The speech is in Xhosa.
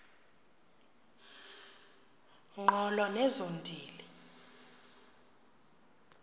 ngqolo nezo ntili